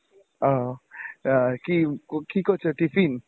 আহ আহ কি কি করছ tiffin?